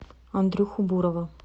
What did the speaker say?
андрюху бурова